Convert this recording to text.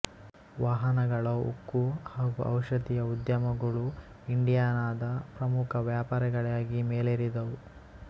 ವಾಹನಗಳ ಉಕ್ಕು ಹಾಗೂ ಔಷಧೀಯ ಉದ್ಯಮಗಳು ಇಂಡಿಯಾನಾದ ಪ್ರಮುಖ ವ್ಯಾಪಾರಗಳಾಗಿ ಮೇಲೆರಿದವು